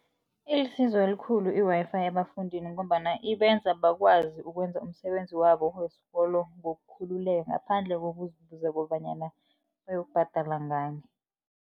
Ilisizo elikhulu i-Wi-Fi ebafundini ngombana ibenza bakwazi ukwenza umsebenzi wabo wesikolo ngokukhulula ngaphandle kokubuza kobanyana bayokubhadala ngani.